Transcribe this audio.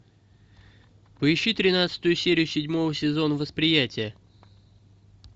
поищи тринадцатую серию седьмого сезона восприятие